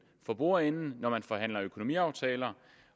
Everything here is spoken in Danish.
for bordenden når man forhandler økonomiaftaler